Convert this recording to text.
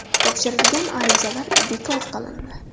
Topshirilgan arizalar bekor qilindi.